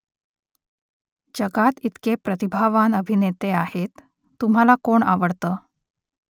जगात इतके प्रतिभावान अभिनेते आहेत . तुम्हाला कोण आवडतं ?